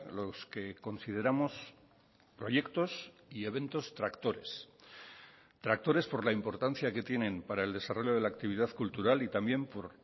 los que consideramos proyectos y eventos tractores tractores por la importancia que tienen para el desarrollo de la actividad cultural y también por